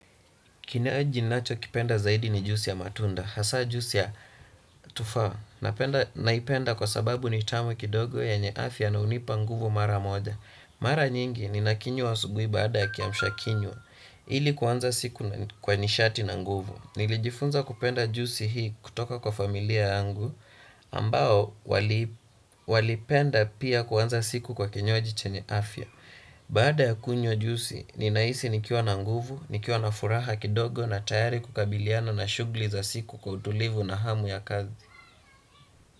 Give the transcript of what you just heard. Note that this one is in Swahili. Kinywaji ninachokipenda zaidi ni juisi ya matunda. Hasa juisi ya tufa. Naipenda kwa sababu ni tamu kidogo yenye afya na hunipa nguvu mara moja. Mara nyingi ninakinwa asubuhi baada ya kiamshakinywa. Ili kuanza siku kwa nishati na nguvu. Nilijifunza kupenda juisi hii kutoka kwa familia yangu ambao walipenda pia kuanza siku kwa kinywaji chenye afya. Baada ya kunywa juisi, ninahisi nikiwa na nguvu, nikiwa na furaha kidogo na tayari kukabiliana na shughuli za siku kwa utulivu na hamu ya kazi.